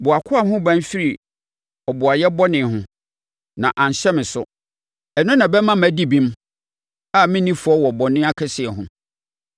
Bɔ wʼakoa ho ban firi ɔboayɛ bɔne ho, na anhyɛ me so. Ɛno na ɛbɛma madi bem, a merenni fɔ wɔ bɔne akɛseɛ ho.